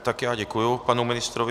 Tak já děkuji panu ministrovi.